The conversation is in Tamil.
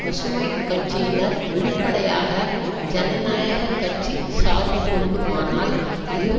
பசுமை கட்சியினர் வெளிப்படையாக ஜனநாயக கட்சி சார்பு கொள்ளுமானால் இரு